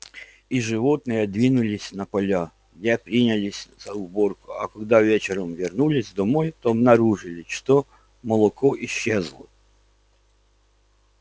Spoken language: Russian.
и животные двинулись на поля где принялись за уборку а когда вечером вернулись домой то обнаружили что молоко исчезло